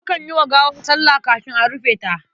Akan yi wa gawa sallah kafin a rufe ta.